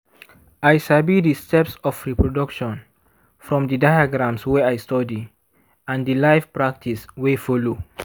i sabi the steps of reproduction from the diagrams wey i study and the live practice wey follow.